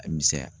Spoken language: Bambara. A misɛnya